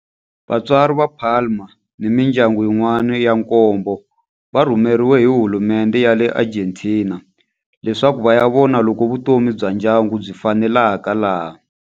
Vatswari va Palma ni mindyangu yin'wana ya nkombo va rhumeriwe hi hulumendhe ya le Argentina leswaku va ya vona loko vutomi bya ndyangu byi faneleka laha.